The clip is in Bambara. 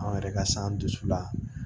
An yɛrɛ ka san dusu la